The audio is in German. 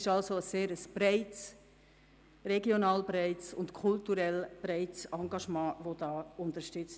Damit wird ein regional und kulturell breit gestreutes Engagement unterstützt.